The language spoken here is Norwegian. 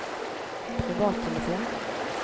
privattelefon